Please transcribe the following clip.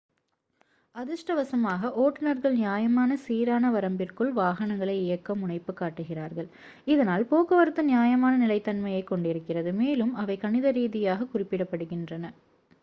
அதிர்ஷ்டவசமாக ஓட்டுநர்கள் நியாயமான சீரான வரம்பிற்குள் வாகனங்களை இயக்க முனைப்பு காட்டுகிறார்கள் இதனால் போக்குவரத்து நியாயமான நிலைத்தன்மையைக் கொண்டிருக்கிறது மேலும் அவை கணித ரீதியாகக் குறிப்பிடப்படுகின்றன